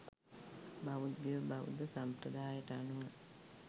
බෞද්ධයෝ බෞද්ධ සම්ප්‍රදායට අනුව